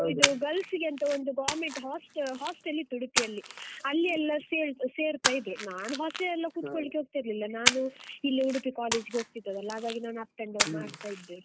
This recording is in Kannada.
Girls ಅಂತ ಒಂದು government host~ hostel ಇತ್ತು ಉಡುಪಿಯಲ್ಲಿ, ಅಲ್ಲಿ ಎಲ್ಲ ಸೇ~ಸೇರ್ತಾ ಇದ್ರು ನಾನ್ hostel ಎಲ್ಲ ಕುತ್ಕೊಳ್ಳಿಕ್ಕೆ ಹೋಗ್ತಾ ಇರ್ಲಿಲ್ಲ, ನಾನು ಇಲ್ಲೇ ಉಡುಪಿ college ಗೆ ಹೋಗ್ತಿದ್ದದ್ದಲ್ಲ, ಹಾಗಾಗಿ ನಾನು up and down ಮಾಡ್ತಾ ಇದ್ದೆ.